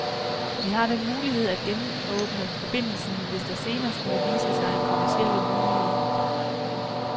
Vi har den mulighed at genåbne forbindelsen, hvis der senere skulle vise sig kommercielle muligheder.